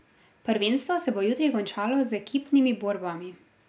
Prvenstvo se bo jutri končalo z ekipnimi borbami.